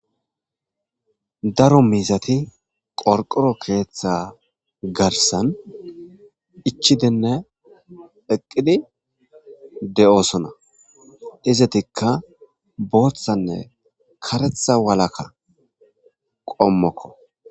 daro miizati qorqoro keeththa garsan ichidinne eqqidi de'oosona izetikka booththanne karetha walakka qommokko